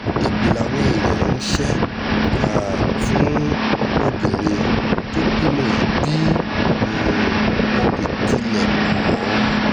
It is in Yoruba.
èpè làwọn èèyàn ń ṣe um fún obìnrin tó bímọ yìí bí um wọn kò tilẹ̀ mọ̀ ọ́n